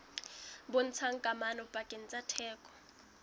bontshang kamano pakeng tsa theko